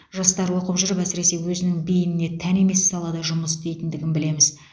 жастар оқып жүріп әсіресе өзінің бейініне тән емес салада жұмыс істейтіндігін білеміз